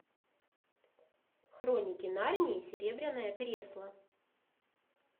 хроники нарнии серебряное кресло